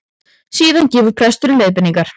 Síðan gefur presturinn leiðbeiningar